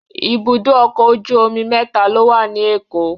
Ibùdó ọkọ̀ ojú omi mẹ́ta ló wà ní Èkó.